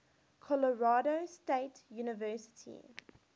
colorado state university